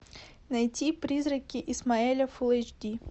найти призраки исмаэля фул эйч ди